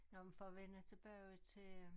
Nå men for at vende tilbage til øh